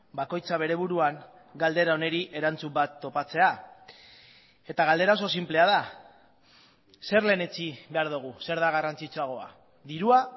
bakoitza bere buruan galdera honi erantzun bat topatzea eta galdera oso sinplea da zer lehenetsi behar dugu zer da garrantzitsuagoa dirua